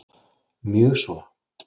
Mjög svo